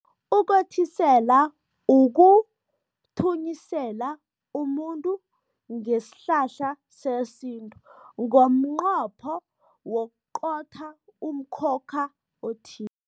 Ukothisela ukuthunyisela umuntu ngesihlahla sesintu, ngomnqopho wokuqotha umkhokha